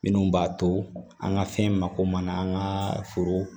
Minnu b'a to an ka fɛn mako mana an ka foro